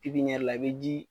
Pipiniyɛri la i bɛ ji